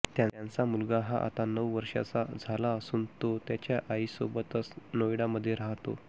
त्यांचा मुलगा हा आता नऊ वर्षांचा झाला असून तो त्याच्या आईसोबतच नोएडा मध्ये राहातो